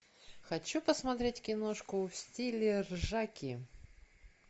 хочу посмотреть киношку в стиле ржаки